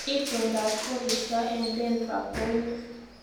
Itondop koristo eng denfa ko unee